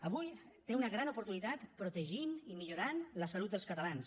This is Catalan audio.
avui té una gran oportunitat per protegir i millorar la salut dels catalans